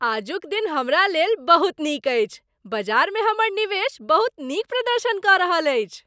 आजुक दिन हमरा लेल बहुत नीक अछि , बजारमे हमर निवेश बहुत नीक प्रदर्शन कऽ रहल अछि।